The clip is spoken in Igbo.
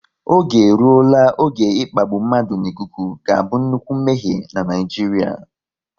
Oge eruola oge ịkpagbu mmadụ n'ikuku ga-abụ nnukwu mmehie n'Naijiria